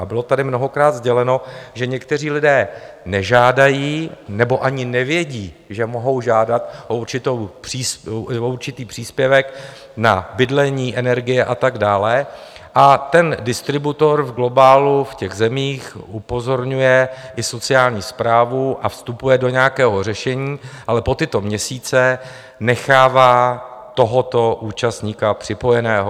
A bylo tady mnohokrát sděleno, že někteří lidé nežádají, nebo ani nevědí, že mohou žádat o určitý příspěvek na bydlení, energie a tak dále, a ten distributor v globálu v těch zemích upozorňuje i sociální správu a vstupuje do nějakého řešení, ale po tyto měsíce nechává tohoto účastníka připojeného.